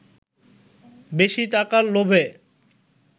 বেশী টাকার লোভে